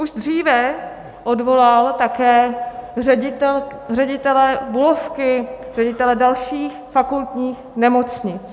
Už dříve odvolal také ředitele Bulovky, ředitele dalších fakultních nemocnic.